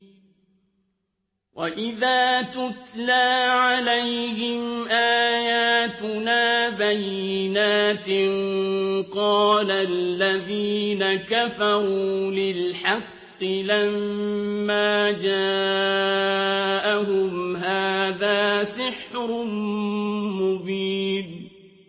وَإِذَا تُتْلَىٰ عَلَيْهِمْ آيَاتُنَا بَيِّنَاتٍ قَالَ الَّذِينَ كَفَرُوا لِلْحَقِّ لَمَّا جَاءَهُمْ هَٰذَا سِحْرٌ مُّبِينٌ